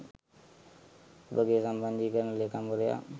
ඔබගේ සම්බන්ධීකරණ ‍ලේකම්වරයා